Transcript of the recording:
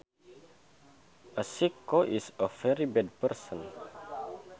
A sicko is a very bad person